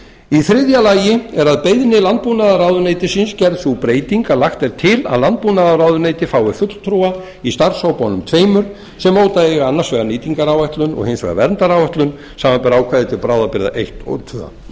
í þriðja lagi er að beiðni landbúnaðarráðuneytisins gerð sú breyting er lagt til að landbúnaðarráðuneyti fái fulltrúa í starfshópunum tveimur sem móta eiga annars vegar nýtingaráætlun og hins vegar verndaráætlun samanber ákvæði til bráðabirgða eins og